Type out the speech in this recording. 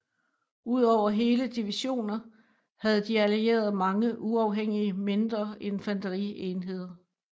Udover hele divisioner havde de Allierede mange uafhængige mindre infanterienheder